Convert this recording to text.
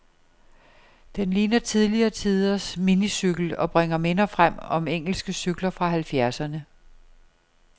Den ligner tidligere tiders minicykel, og bringer minder frem om engelske cykler fra halvfjerdserne.